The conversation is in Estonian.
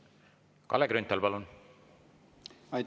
Kalle Grünthal, palun!